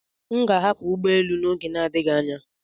M ga-ahapụ ụgbọ elu n'oge adịghị anya.